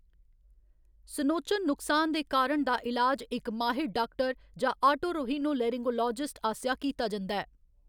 सुनोचन नुकसान दे कारण दा ईलाज इक माहिर डाक्टर जां आटोरहिनो लेरिंगोलोजिस्ट आसेआ कीता जंदा ऐ।